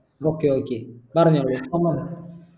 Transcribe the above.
okay okay പറഞ്ഞോളൂ